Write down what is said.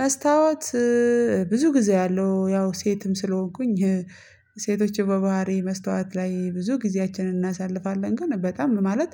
መስታወት ብዙ ጊዜ አያለሁ። ያው ሴትም ስለሆንኩኝ ሴቶችን በባህሪ መስታወት ላይ ብዙ ጊዜያችንን እናሳልፋለን ግን በጣም ማለት